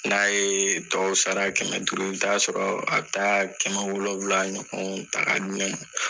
N'a ye tɔw sara kɛmɛ duuru i bɛ taa sɔrɔ a bɛ taa kɛmɛ wolowula ɲɔgɔn ta ka di ne ma.